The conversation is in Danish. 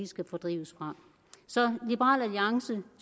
skal fordrives fra så liberal alliance